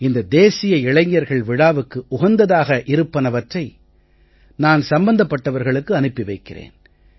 இந்த தேசிய இளைஞர்கள் விழாவுக்கு உகந்ததாக இருப்பனவற்றை நான் சம்பந்தப்பட்டவர்களுக்கு அனுப்பி வைக்கிறேன்